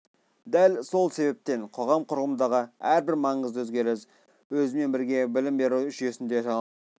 дәл сол себептен қоғам құрылымындағы әрбір маңызды өзгеріс өзімен бірге білім беру жүйесін де жаңалыққа тартады